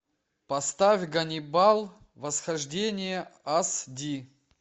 поставь ганнибал восхождение аш ди